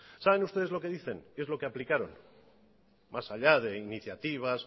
saben ustedes lo que dicen qué es lo que aplicaron más allá de iniciativas